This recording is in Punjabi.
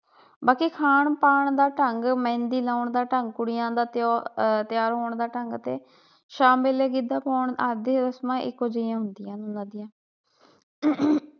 ਬਾਕੀ ਖਾਣ ਪਾਨ ਦਾ ਢੰਗ, ਮਹਿੰਦੀ ਲਾਉਣ ਦਾ ਢੰਗ, ਕੁੜੀਆਂ ਦਾ ਜੋ ਤੈਯਾਰ ਹੋਣ ਦਾ ਢੰਗ ਤੇ ਸ਼ਾਮ ਵੇਲੇ ਗਿੱਧਾ ਪਾਉਣ ਆਦਿ ਰਸਮਾਂ ਇਕੋ ਜਿਹੀਆਂ ਹੁੰਦੀਆਂ ਹਨ